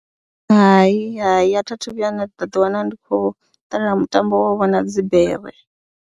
Hai, hai a thi a thu vhuya nda ḓiwana ndi khou ṱalela mutambo wo vhona dzi bere.